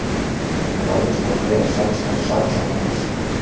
Ráðist á vef sænska saksóknarans